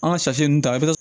An ka ta